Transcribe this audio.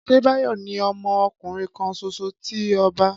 Adébáyọ̀ ni ọmọ ọkùnrin kan ṣoṣo ti ọba